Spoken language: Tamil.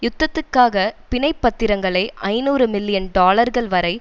யுத்தத்துக்காக பிணைப் பத்திரங்களை ஐநூறு மில்லியன் டாலர்கள் வரை